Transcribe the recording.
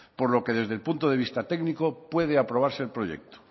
por lo que desde el punto de vista técnico puede aprobarse el proyecto